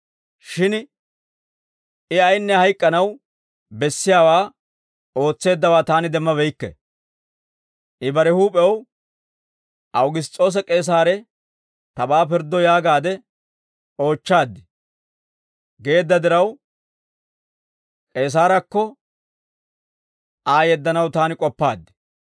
Shin I ayinne hayk'k'anaw bessiyaawaa ootseeddawaa taani demmabeykke; I bare huup'ew, ‹Awugiss's'oose K'eesaare tabaa pirddo yaagaade oochchaad› geedda diraw, K'eesaarakko Aa yeddanaw taani k'oppaad.